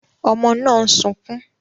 Ọmọ náà ń sunkún